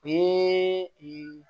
O ye